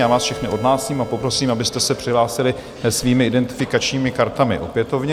Já vás všechny odhlásím a poprosím, abyste se přihlásili svými identifikačními kartami opětovně.